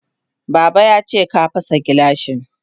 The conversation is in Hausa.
Baba yace ka fasa gilashin.